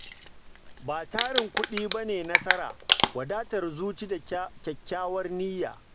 Ba tarin kuɗin ba ne nasara, wadatar zuciya da kyakkyawar niyya.